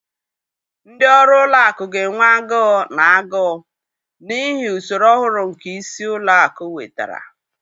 Ndị ọrụ ụlọ akụ ga-enwe agụụ na agụụ, n'ihi usoro ọhụrụ nke isi ụlọ akụ wetara.